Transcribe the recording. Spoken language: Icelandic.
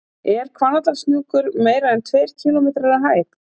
Er Hvannadalshnjúkur meira en tveir kílómetrar að hæð?